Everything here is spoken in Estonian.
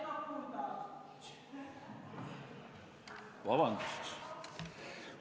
Vabandust!